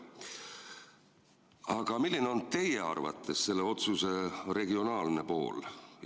Aga milline on teie arvates selle otsuse regionaalne pool?